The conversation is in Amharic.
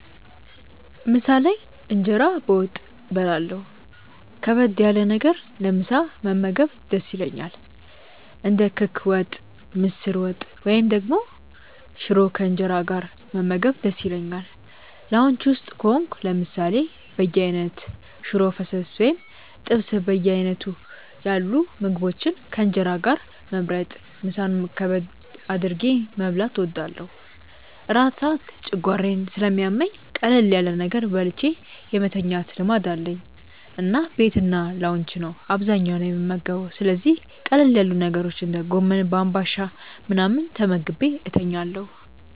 ምሳ ላይ እንጀራ በወጥ በላለሁ ከበድ ያለ ነገር ለምሳ መመገብ ደስ ይለኛል። እንደ ክክ ወጥ፣ ምስር ወጥ፣ ወይም ደግሞ ሽሮ ከእንጀራ ጋር መመገብ ደስ ይለኛል። ላውንጅ ውስጥ ከሆንኩ ለምሳሌ በየአይነት፣ ሽሮ ፈሰስ ወይም ጥብስ በዓይነቱ ያሉ ምግቦችን ከእንጀራ ጋር መምረጥ ምሳን ከበድ አድርጌ መብላት እወዳለሁ። እራት ሰዓት ጨጓራዬን ስለሚያመኝ ቀለል ያለ ነገር በልቼ የመተኛት ልማድ አለኝ እና ቤትና ላውንጅ ነው አብዛኛውን የምመገበው ስለዚህ ቀለል ያሉ ነገሮች እንደ ጎመን በአንባሻ ምናምን ተመግቤ ተኛለሁ።